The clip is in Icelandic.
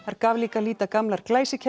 gaf líka að líta gamlar